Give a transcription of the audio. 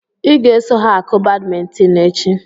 I ga-eso ha akụ badmintin echi!